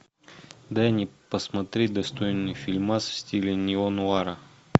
дай мне посмотреть достойный фильмас в стиле неонуара